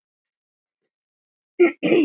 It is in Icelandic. Hvað borðar þú um jólin?